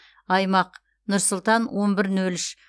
аймақ нұр сұлтан он бір нөл үш